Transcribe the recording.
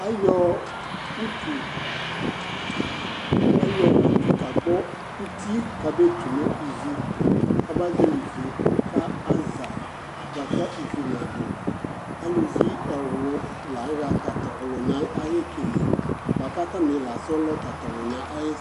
Ayɔ utu ayɔ utu kagbɔ uti k'abee tu nʋ ivi , k'aba zɔɔlɩ ivi ka aza bʋa kʋ ivi nadʋ Aluvi ɛwlʋ la ayɔ tat'ɔlʋnaɛ ay'ekele, bʋa k'atanɩ la sɔlɔ tat'ɔlʋnaɛ ay'ekele